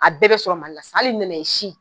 A bɛɛ be sɔrɔ mali la sisan ali nanaye si